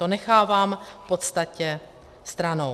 To nechávám v podstatě stranou.